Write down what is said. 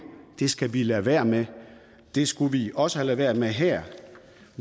det skal vi lade være med det skulle vi også have ladet være med her